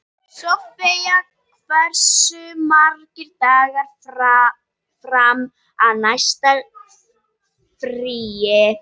Sofie, hversu margir dagar fram að næsta fríi?